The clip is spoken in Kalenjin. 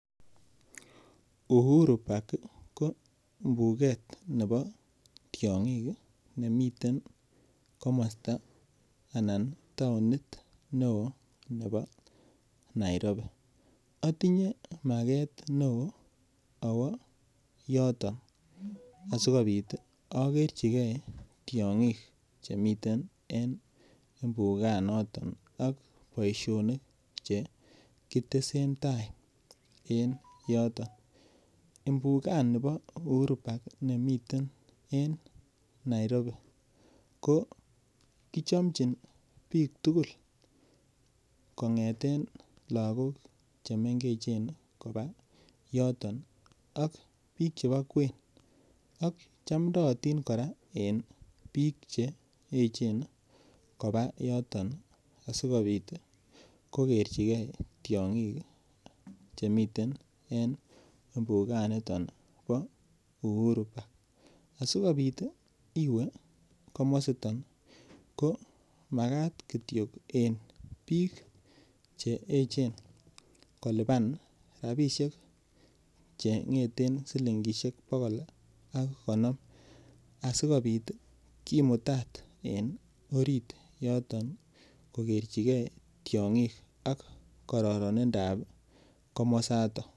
Uhuru park ko mbuket nebo tiong'ik nemi komosta anan taonit neo ne bo Nairobi atinye maget neo awo yoton asikobit akerchike tiong'ik chemiten mbukanato ak boisionik chekitesen tai en yoton mbukani bo uhuru park nemietn en Nairobi ko kochomchin biik tugul kong'eten lakok chemengechen kopaa yoton ak biik chebo kwen ak chamndootin kora en biik che echen ii kpaa yoton asikobit kokerchike tiong'ik chemiten en mbukanito bo Uhuru park asikobit iwe komositon ko makat kitiok en biik che echen kolipan rapisiek cheng'eten silingisiek bogol asikimutat en orit yoton ii kokerchike tiong'ik ak kororonindab komosaton.